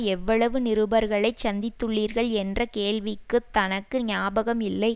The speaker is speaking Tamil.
எவ்வளவு நிருபர்களைச் சந்தித்துள்ளீர்கள் என்ற கேள்விக்குத் தனக்கு ஞாபகம் இல்லை